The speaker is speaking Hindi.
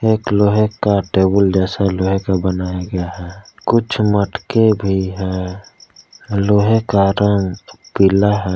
एक लोहे का टेबुल जैसा लोहे का बनाया गया है कुछ मटके भी है लोहे का रंग पीला है।